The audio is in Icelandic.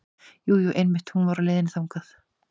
Jú, jú einmitt hún var á leiðinni þangað.